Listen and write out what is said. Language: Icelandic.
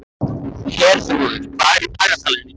Herþrúður, hvað er í dagatalinu í dag?